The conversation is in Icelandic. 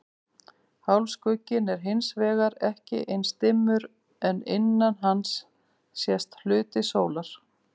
Hálfskugginn er hins vegar ekki eins dimmur en innan hans sést hluti sólar.